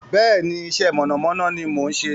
Bẹ́ẹ̀ni, iṣẹ́ mọ̀nàmọ́ná ni mò ń ṣe.